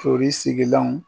Torisigilan